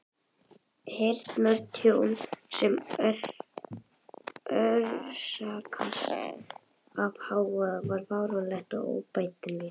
Heyrnartjón sem orsakast af hávaða er varanlegt og óbætanlegt.